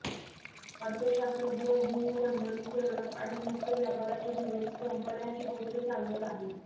अर्थशास्त्रज्ञ भूमंडलीकरण आणि मुक्त व्यापाराचे दिवस संपण्याची गोष्ट सांगत आहेत